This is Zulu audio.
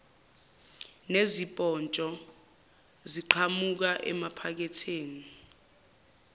nezipotsho ziqhamuka emaphaketheni